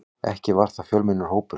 Ekki var það fjölmennur hópur.